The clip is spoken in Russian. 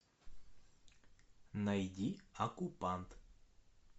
найди окупант